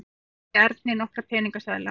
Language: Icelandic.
Hún rétti Erni nokkra peningaseðla.